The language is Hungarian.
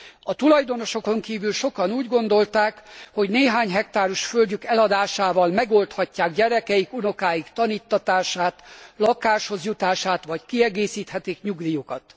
A tulajdonosokon kívül sokan úgy gondolták, hogy néhány hektáros földjük eladásával megoldhatják gyerekeik, unokáik taníttatását, lakáshoz jutását vagy kiegészíthetik nyugdíjukat.